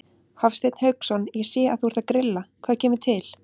Hafsteinn Hauksson: Ég sé að þú ert að grilla, hvað kemur til?